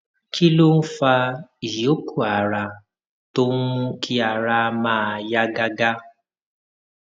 kí ló ń fa ìyókù ara tó ń mú kí ara máa yá gágá